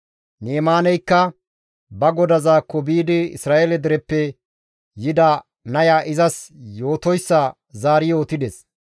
Ni7imaaneykka ba godazaakko biidi Isra7eele dereppe yida naya izas yootoyssa zaari yootides.